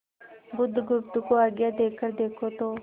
बुधगुप्त को आज्ञा देकर देखो तो